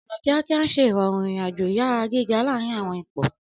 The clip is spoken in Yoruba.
Ọna kiakia n ṣe irọrun irin-ajo iyara giga laarin awọn ipo.